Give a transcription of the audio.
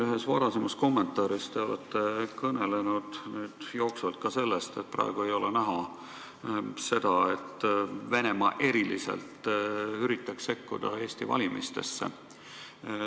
Ühes varasemas kommentaaris te olete kõnelenud ka sellest, et praegu ei ole näha, et Venemaa eriliselt üritaks sekkuda Eesti valimistesse.